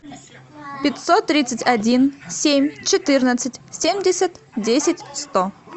пятьсот тридцать один семь четырнадцать семьдесят десять сто